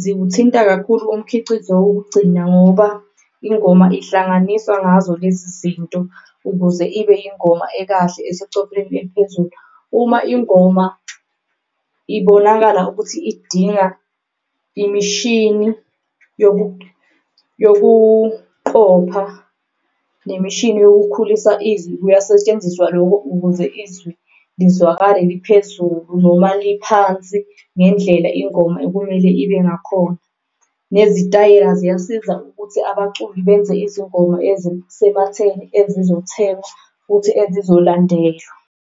ziwuthinta kakhulu umkhicizo wokugcina, ngoba ingoma ihlanganiswa ngazo lezi zinto ukuze ibe ingoma ekahle esecopheleni eliphezulu. Uma ingoma ibonakala ukuthi idinga imishini yokuqopha nemishini yokukhulisa izwi, kuyasetshenziswa loko ukuze izwi lizwakale liphezulu noma liphansi ngendlela ingoma okumele ibe ngakhona. Nezitayela ziyasiza ukuthi abaculi benze izingoma ezisematheni, ezizothengwa futhi ezizolandelwa.